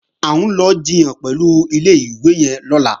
À ń lọ jiyàn pẹ̀lú ilé-ìwé yẹn lọ́la